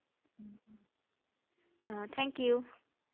আহ Thank you ধন্যবাদ ৷